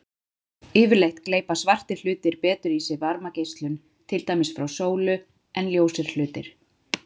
Yfirleitt gleypa svartir hlutir betur í sig varmageislun, til dæmis frá sólu, en ljósir hlutir.